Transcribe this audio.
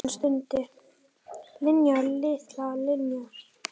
Hann stundi: Linja, litla Linja.